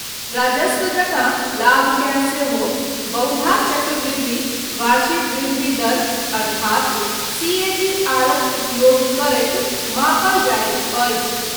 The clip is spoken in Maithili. राजस्व जकाँ लाभकेँ सेहो बहुधा चक्रवृद्धि वार्षिक वृद्धि दर अर्थात सीएजीआरक उपयोग करैत मापल जाइत अछि।